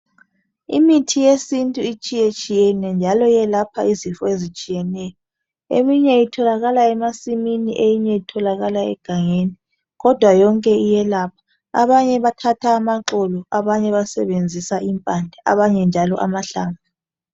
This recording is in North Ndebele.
Imithi yesintu itshiye tshiyene njalo iyelapha izifo ezitshiyeneyo. Eminye itholakala emasimini eminye itholakala egangeni kodwa yonke iyelapha abanye bathatha amaxolo abanye basenzisa impande abanye amahlamvu.